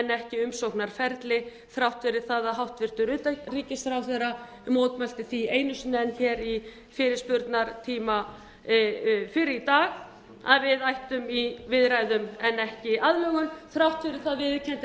ekki umsóknarferli þrátt fyrir að hæstvirtur utanríkisráðherra mótmælti því einu sinni enn hér í fyrirspurnatíma fyrr í dag að við ættum í viðræðum en ekki aðlögun þrátt fyrir það viðurkenndi